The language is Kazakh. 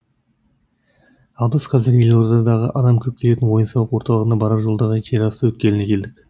ал біз қазір елордадағы адам көп келетін ойын сауық орталығына барар жолдағы жерасты өткеліне келдік